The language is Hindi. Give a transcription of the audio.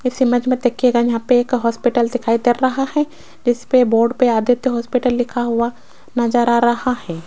इस इमेज में देखिएगा यहां पे एक हॉस्पिटल दिखाई दे रहा है इस पर बोर्ड पर आदित्य हॉस्पिटल लिखा हुआ नजर आ रहा है।